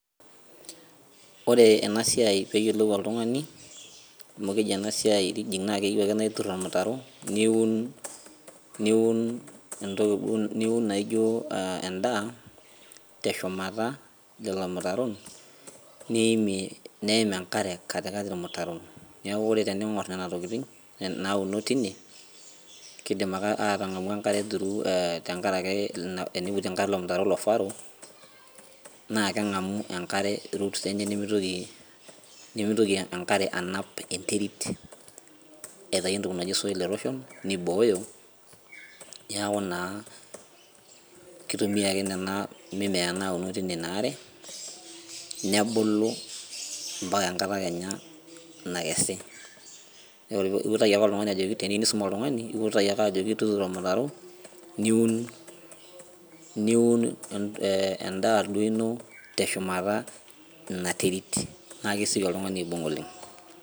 Ore ena siai peyiolou oltung'ani amu keji ena siai ridging naa keyieu ake naa iturr ormutaro niun niun entoki duo niun naijio uh endaa teshumata lelo mutaron niimie neim enkare katikati irmutaron niaku ore tening'orr nena tokiting nauno tine kidim ake aatang'amu enkare through eh tenkarake ina eniputi enkalo ilo mutaro ilo furrow naa keng'amu enkare roots enye nemitoki nemitoki enkare anap enterit aitai entoki naji soil erosion nibooyo niaku naa kitumia ake nena mimea nauno tine ina are nebulu mpaka enkata kenya nakesi neor iutaki ake oltung'ani ajoki teniu nisum oltungani iutaki ake ajo tuturo ormutaro niun niun eh endaa duo ino teshumata ina terit naa kesioki oltung'ani aibung oleng.